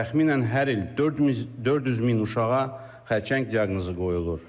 Təxminən hər il 400 min uşağa xərçəng diaqnozu qoyulur.